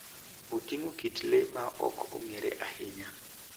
Oting'o kit le ma ok ong'ere ahinya.